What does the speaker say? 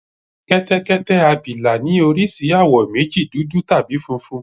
Kẹ́tẹ́kẹ́tẹ́ abìlà ní oríṣi àwọ̀ méjì, dúdú áti funfun